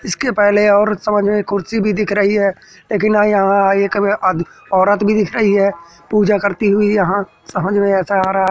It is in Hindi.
इसके पहले और सामने एक कुर्सी भी दिख रही है लेकिन यहां एक में आद औरत भी दिख रही है पूजा करती हुई यहां समझ में ऐसा आ रहा।